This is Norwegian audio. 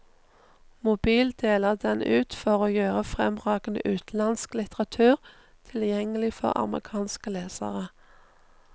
Mobil deler den ut for å gjøre fremragende utenlandsk litteratur tilgjengelig for amerikanske lesere.